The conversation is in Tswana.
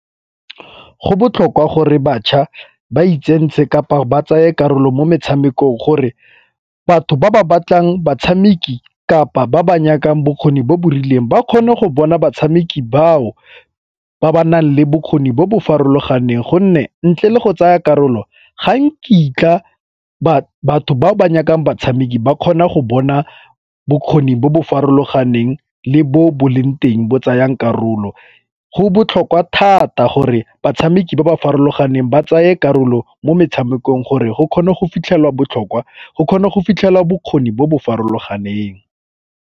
Go botlhokwa gore bašwa ba itsentshe kapa ba tsaya karolo mo metshamekong gore batho ba ba batlang batshameki kapa ba ba nyakang bokgoni bo bo rileng ba kgone go bona batshameki bao ba ba nang le bokgoni bo bo farologaneng, gonne ntle le go tsaya karolo ga nkitla batho bao ba nyakang batshameki ba kgona go bona bokgoni bo bo farologaneng le bo bo leng teng bo tsayang karolo. Go botlhokwa thata gore batshameki ba ba farologaneng ba tsaya karolo mo metshamekong gore go kgone go fitlhelwa bokgoni bo bo farologaneng.